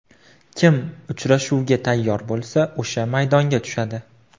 Kim uchrashuvga tayyor bo‘lsa o‘sha maydonga tushadi.